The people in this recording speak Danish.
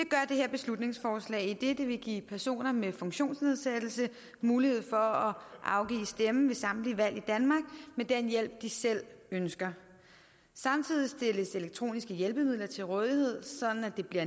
her beslutningsforslag idet det vil give personer med funktionsnedsættelse mulighed for at afgive stemme ved samtlige valg i danmark med den hjælp de selv ønsker samtidig stilles elektroniske hjælpemidler til rådighed sådan at det bliver